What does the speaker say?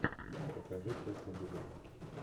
покажи тест на беременность